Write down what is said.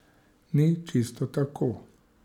Ni čisto tako.